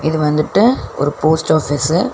இது வந்துட்டு ஒரு போஸ்ட் ஆஃபீஸ்சு .